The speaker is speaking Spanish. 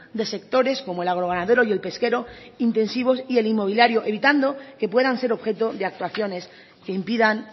de sectores como el agroganadero y el pesquero intensivos y el inmobiliario evitando que puedan ser objeto de actuaciones que impidan